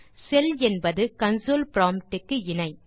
செல் என்பது console prompt க்கு இணை